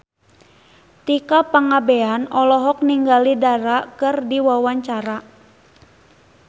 Tika Pangabean olohok ningali Dara keur diwawancara